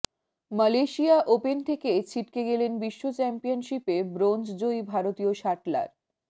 Malaysia open থেকে ছিটকে গেলেন বিশ্ব চ্যাম্পিয়নশিপে ব্রোঞ্জজয়ী ভারতীয় শাটলার